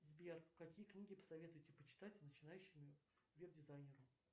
сбер какие книги посоветуете почитать начинающему вэб дизайнеру